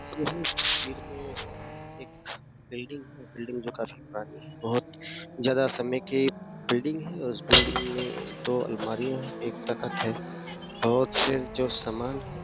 तस्वीर में एक बिल्डिंग है बिल्डिंग जो काफी पुरानी है बहुत ज्यादा समय की बिल्डिंग है और उस बिल्डिंग में दो अलमारियां हैं एक तखत है बहुत से जो सामान है।